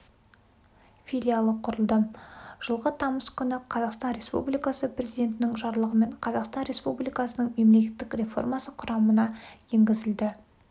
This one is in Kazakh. филиалы құрылды жылғы тамыз күні қазақстан републикасы президентінің жарлығымен қазақстан республикасының мемлекеттік реформасы құрамына енгізілді